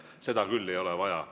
Seda küll ei ole vaja.